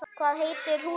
Hvað heitir húsið?